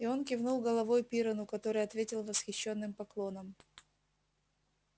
и он кивнул головой пиренну который ответил восхищённым поклоном